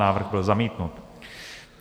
Návrh byl zamítnut.